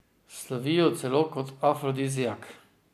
Slovijo celo kot afrodiziak.